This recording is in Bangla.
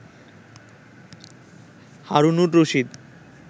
হারুনুর রশীদ